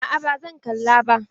A'a ba zan kalla ba.